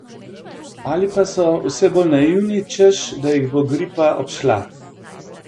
Ali pa so vse bolj naivni, češ da jih bo gripa obšla?